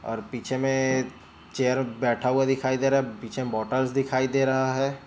और पीछे में चेयर बैठा हुआ दिखाई दे रहा है पीछे मोटर्स दिखाई दे रहा है।